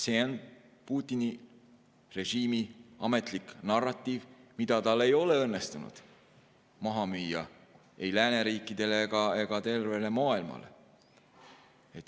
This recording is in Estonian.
See on Putini režiimi ametlik narratiiv, mida tal ei ole õnnestunud maha müüa ei lääneriikidele ega maailmale.